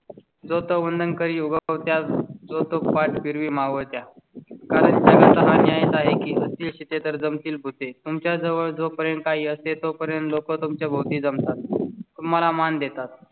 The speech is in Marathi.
जो तो वंदन करी उगवत्या जो तो पाठ फिरवी मावळ त्या कारण. यायचं आहे तिथे तर जम तील भुते तुमच्या जवळ जोपर्यंत काही असते तोपर्यंत लोक तुमच्या भोवती जमतात. तुम्हाला मान देतात